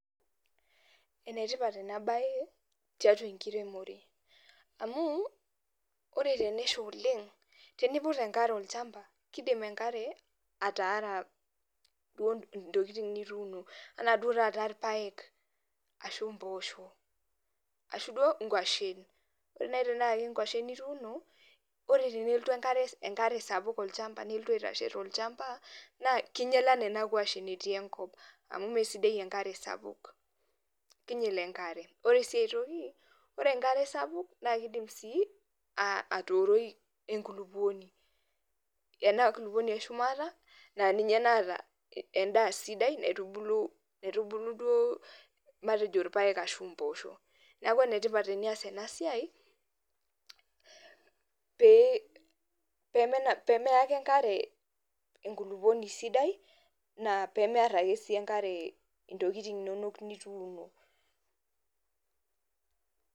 Enetipat enabae tiatua enkiremore amu ore tenesha oleng teniput enkare olchamba kidim enkare ataare duo ntokitin nittuno ana duo taata irpaek ashu mbosho ashu duo nkwashen, ore nai tanaa nkwashen ituuno ore pelotu enkare sapuk olchamba na keinyala naa nona kwashen etii enkop amu mesidai enkare sapuk ore si enkare sapuk na kidim si atuuroi enkulukuoni enkulukuoni eshumata endaa sidai naitubulu irpaek ashu mpoosho, neakubenetipat enias enasiai pemeya ake enkare enkulukuoni sidai